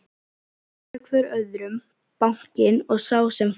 Hótaði hvor öðrum, bankinn og sá sem fór.